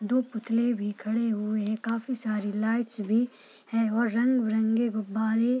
दो पुतले भी खड़े हुए हैं काफी सारे लाइट्स भी है और रंग-बिरंगी गुब्बारे --